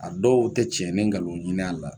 A dɔw tɛ cɛn ni nkalon ɲinin a la